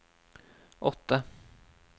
åtte